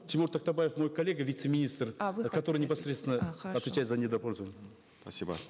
тимур тактабаев мой коллега вице министр который непосредственно отвечает за недропользование спасибо